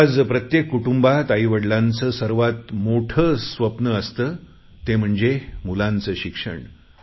आज प्रत्येक कुटुंबात आई वडीलांचे सर्वात मोठं स्वप्न असते ते म्हणजे मुलांचं शिक्षण